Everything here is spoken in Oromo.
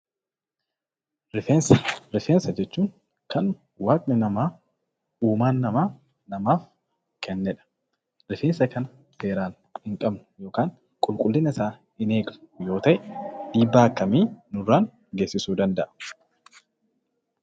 Rifeensa: Rifeensa jechuun kan waaqni namaa uumaan namaa namaaf kennedha. Rifeensa kana seeraan hin qabnu yookan qulqullinasaa hin eegnu yoo ta'e dhiibbaa akkamii nurraan geessisuu danda'a?